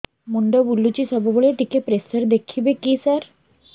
ମୁଣ୍ଡ ବୁଲୁଚି ସବୁବେଳେ ଟିକେ ପ୍ରେସର ଦେଖିବେ କି ସାର